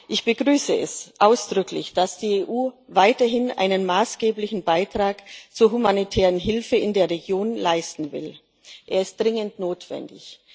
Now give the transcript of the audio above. Ich begrüße es ausdrücklich, dass die EU weiterhin einen maßgeblichen Beitrag zur humanitären Hilfe in der Region leisten will er ist dringend notwendig.